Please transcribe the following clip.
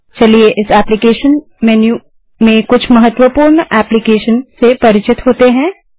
चलिए इस application menu में कुछ महत्वपूर्ण एप्लीकेशन से परिचित होते हैं